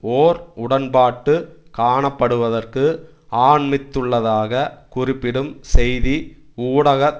ஓர் உடன்பாட்டு காணப்படுவதற்கு அண்மித்துள்ளதாக குறிப்பிடும் செய்தி ஊடக